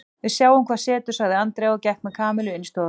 Við sjáum hvað setur sagði Andrea og gekk með Kamillu inn í stofuna.